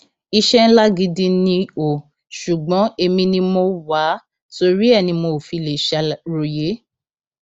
iṣẹ ńlá gidi ni ò ṣùgbọn èmi ni mo wá a torí ẹ ni mi ò fi lè ṣàròyé